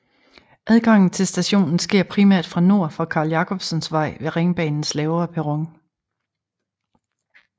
Adgangen til stationen sker primært fra nord fra Carl Jacobsens Vej ved Ringbanens lavere perron